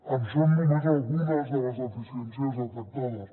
en són només algunes de les deficiències detectades